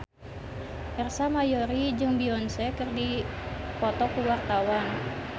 Ersa Mayori jeung Beyonce keur dipoto ku wartawan